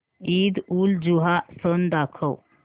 ईदउलजुहा सण दाखव